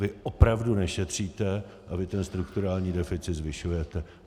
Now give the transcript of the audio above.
Vy opravdu nešetříte a vy ten strukturální deficit zvyšujete.